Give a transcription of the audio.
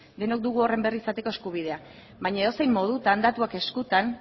denok dugu horren berri izateko eskubidea baina edozein modutan datuak eskutan